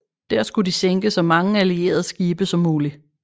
Der skulle de sænke så mange allierede skibe som muligt